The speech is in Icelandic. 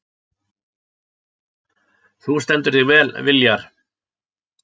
Þú stendur þig vel, Viljar!